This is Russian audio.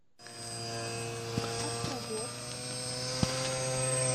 острогожск